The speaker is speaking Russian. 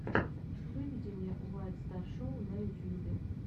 выведи мне уайт стар шоу на ютьюбе